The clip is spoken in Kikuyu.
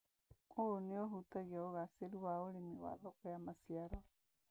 ũũ nĩ ũhutagia ũgacĩru wa ũrĩmi wa thoko ya maciaro.